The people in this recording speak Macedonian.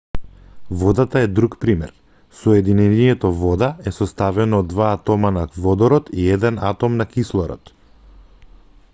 водата е друг пример соединението вода е составено од два атома на водород и еден атом на кислород